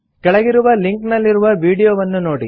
ಕೆಳಗಿರುವ ಲಿಂಕ್ ನಲ್ಲಿರುವ ವೀಡಿಯೊವನ್ನು ನೋಡಿ